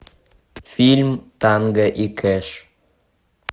фильм танго и кэш